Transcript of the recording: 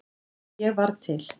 Að ég varð til.